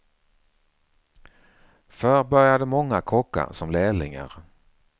Förr började många kockar som lärlingar.